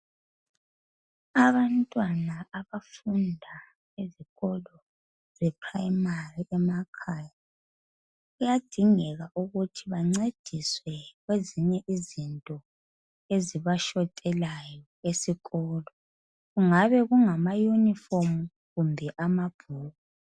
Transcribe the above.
abantwana abafunda esikolo se primary emakhaya kuyadingeka ukuthi bancediswe kwezinye izinto ezibashotelayo esikolo kungabe kungama uniform kumbe ama bhuku